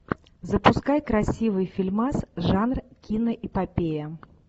запускай красивый фильмас жанр киноэпопея